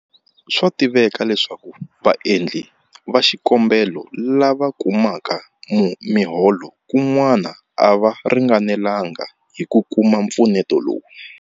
Swa tiveka leswaku vaendli va xikombelo lava kumaka miholo kun'wana a va ringanelanga hi ku kuma mpfuneto lowu.